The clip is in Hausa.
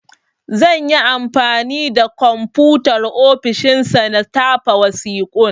Zan yi anfani da Komfutar ofishin sa na tafa wasiƙun.